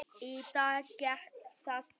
Í dag gekk það upp.